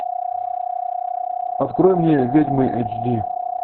открой мне ведьмы эйч ди